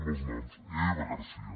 amb els noms eva garcía